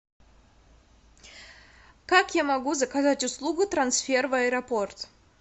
как я могу заказать услугу трансфер в аэропорт